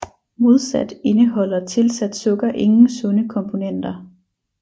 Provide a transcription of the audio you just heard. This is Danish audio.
Modsat indeholder tilsat sukker ingen sunde komponenter